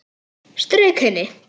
Strauk henni.